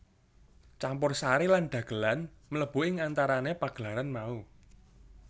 Campursari lan dhagelan mlebu ing antarané pagelaran mau